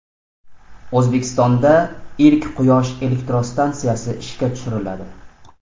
O‘zbekistonda ilk quyosh elektrostansiyasi ishga tushiriladi.